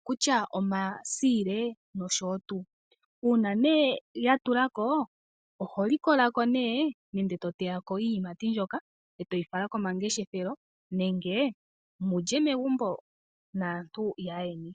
okutya omasiile nosho woo tuu. Uuna nee yatulako oholikolako nee nenge toteya ko iiyimati mbyoka e toyi fala komangeshefelo nenge mulye megumbo naantu yaayeni.